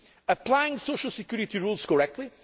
applying social security rules correctly